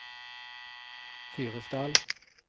Fyresdal